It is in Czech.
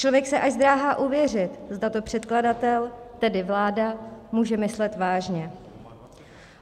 Člověk se až zdráhá uvěřit, zda to předkladatel, tedy vláda, může myslet vážně.